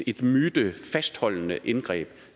et mytefastholdende indgreb